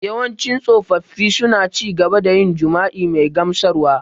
Yawancin tsofaffi suna ci gaba da yin jima’i mai gamsarwa.